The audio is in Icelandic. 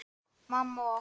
Mamma og